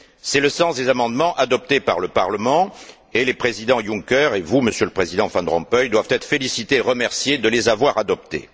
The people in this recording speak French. C'est le sens des amendements adoptés par le Parlement, et le président Juncker, et vous, Monsieur le Président Van Rompuy, doivent être félicités et remerciés de les avoir adoptés.